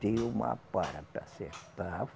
Deu uma para para acertar.